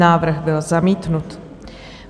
Návrh byl zamítnut.